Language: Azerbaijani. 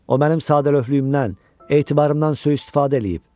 O mənim sadəlövlüyümdən, etibarımdan sui-istifadə eləyib.